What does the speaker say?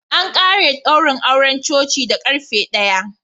An ƙare daurin auren coci da ƙarfe ɗaya.